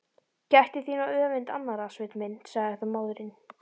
Gættu þín á öfund annarra, Sveinn minn, sagði þá móðirin.